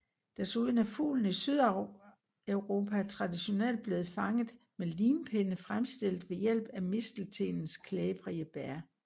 Desuden er fuglen i Sydeuropa traditionelt blevet fanget med limpinde fremstillet ved hjælp af misteltenens klæbrige bær